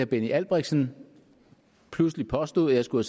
benny albrechtsen pludselig påstod at jeg skulle